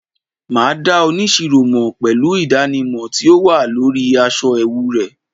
ma da onisiro mo pelu idanimọ ti o wa lori aṣọ ẹwu rẹ